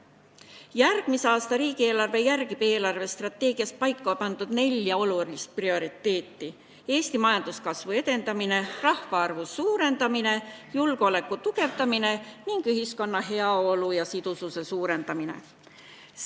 Järgmise aasta riigieelarve järgib eelarvestrateegias paika pandud nelja olulist prioriteeti: Eesti majanduskasvu edendamine, rahvaarvu suurendamine, julgeoleku tugevdamine ning ühiskonna heaolu ja sidususe suurendamine.